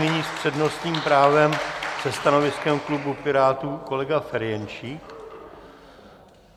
Nyní s přednostním právem se stanoviskem klubu Pirátů kolega Ferjenčík.